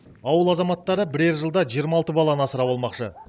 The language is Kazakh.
ауыл азаматтары бірер жылда жиырма алты баланы асырап алмақшы